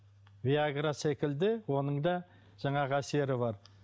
виагра секілді оның да жаңағы әсері бар